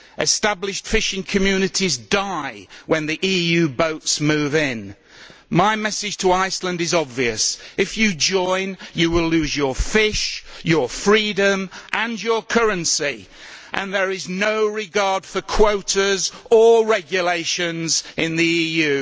Established fishing communities die when the EU boats move in. My message to Iceland is obvious. If you join you will lose your fish, your freedom and your currency and there is no regard for quotas or regulations in the EU.